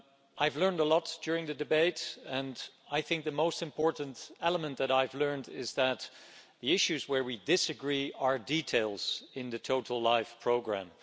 I've learned a lot during the debate, and I think the most important element that I've learned is that the issues we disagree on are details in the overall LIFE programme.